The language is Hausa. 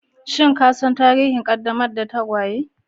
Shin ka san tarihin ƙaddamar da tagwaye?